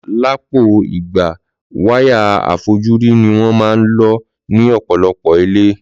Lọpọ ìgbà wáyà àfojúrí ní wón man lo ní òpòlopò ilé